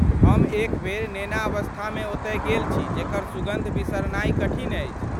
हम एकबेर नेनावस्थामे ओतय गेल छी जेकर सुगन्ध बिसरनाइ कठिन अछि।